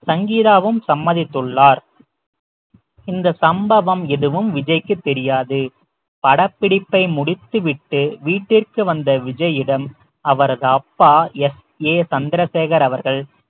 சங்கீதாவும் சம்மதித்துள்ளார் இந்த சம்பவம் எதுவும் விஜய்க்கு தெரியாது படப்பிடிப்பை முடித்துவிட்டு வீட்டிற்கு வந்த விஜயிடம் அவரது அப்பா எஸ் ஏ சந்திரசேகர் அவர்கள்